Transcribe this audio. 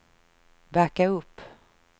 backa upp